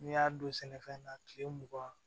N'i y'a don sɛnɛfɛn na kile mugan